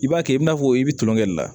I b'a kɛ i n'a fɔ i bi tulonkɛ de la